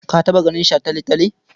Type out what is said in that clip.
Ka taɓa ganin shataletale?